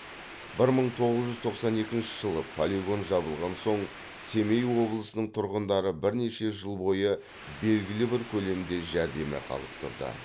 бір мың тоғыз жүз тоқсан екінші жылы полигон жабылған соң семей облысының тұрғындары бірнеше жыл бойы белгілі бір көлемде жәрдемақы алып тұрды